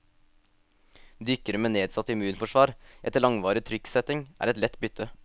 Dykkere med nedsatt immunforsvar etter langvarig trykksetting, er et lett bytte.